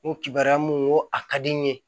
N ko kibaruyamu ko a ka di n ye